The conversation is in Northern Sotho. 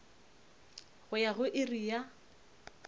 go ya go iri ya